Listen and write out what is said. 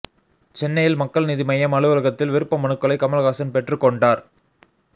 சென்னையில் மக்கள் நீதி மய்யம் அலுவலகத்தில் விருப்ப மனுக்களை கமல்ஹாசன் பெற்றுக்கொண்டார்